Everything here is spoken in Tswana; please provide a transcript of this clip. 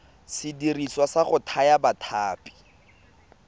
sediriswa sa go thaya ditlhapi